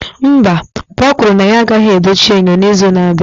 Mba, papa kwuru na ya agaghị edochi enyo n'izu na-abịa